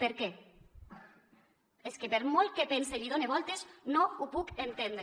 per què és que per molt que pense i hi done voltes no ho puc entendre